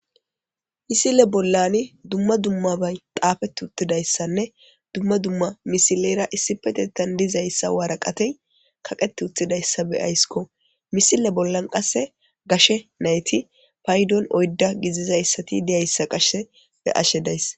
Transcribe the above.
Misile bollan dumma dummabay xaafeti uttidayssanne dumma dumma misileyra issi petettan dizayssa waraqatey kaqet uttidayssa be aysiko misile bollan qasse gashe nayti paydon oydda gizizayssati deyayssa qashe be ashe dayssa.